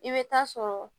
I bɛ taa sɔrɔ